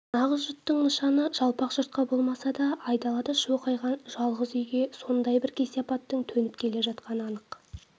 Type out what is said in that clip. нағыз жұттың нышаны жалпақ жұртқа болмаса да айдалада шоқайған жалғыз үйге сондай бір кесепаттың төніп келе жатқаны анық